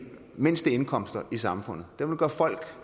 mindste indkomster i samfundet den vil gøre folk